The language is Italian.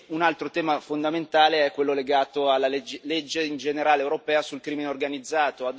Un altro tema fondamentale è quello legato alla legge europea in generale sul crimine organizzato.